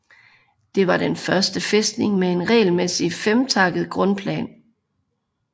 Det var den første fæstning med en regelmæssig femtakket grundplan